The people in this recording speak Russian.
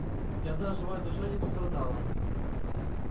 ни одна живая душа не пострадала